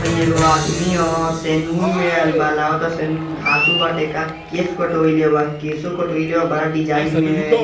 हई एगो आदमी ह सेनुन में आइल बा लागता सेनुन धासू बाटे का केश कटवाएले बा केशों कटवाएले बा बड़ा डिज़ाइन में।